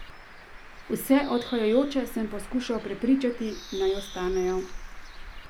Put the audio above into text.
Vse odhajajoče sem poskušal prepričati, naj ostanejo.